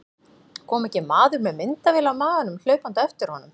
Kom ekki maður með myndavél á maganum hlaupandi á eftir honum.